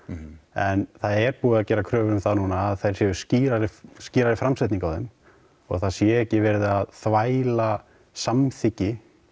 en það er búið að gera kröfur um það núna að það sé skýrari skýrari framsetning á þeim og það sé ekki verið að þvæla samþykki